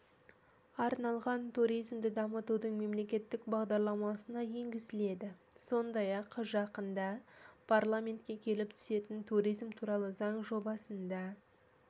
арналған туризмді дамытудың мемлекеттік бағдарламасына енгізіледі сондай-ақ жақында парламентке келіп түсетін туризм туралы заң жобасында